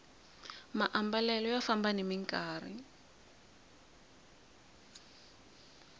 maambalelo ya famba nimi nkarhi